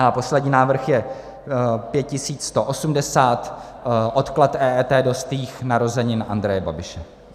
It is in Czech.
A poslední návrh je 5180, odklad EET do stých narozenin Andreje Babiše.